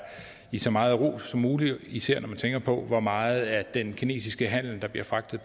i så meget ro som muligt især når man tænker på hvor meget af den kinesiske handel der bliver fragtet